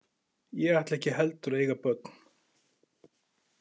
Ég ætla ekki heldur að eiga börn.